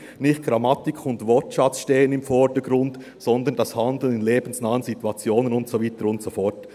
«Nicht Grammatik und Wortschatz stehen im Vordergrund, sondern das Handeln in lebensnahen Situationen», und so weiter und so fort.